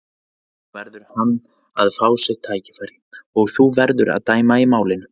Nú verður hann að fá sitt tækifæri og þú verður að dæma í málinu.